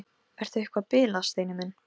Ertu eitthvað að bilast, Steini minn?